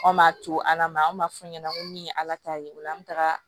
Anw m'a to ala ma an b'a fɔ ɲɛna ko min ye ala ta ye o la an be taga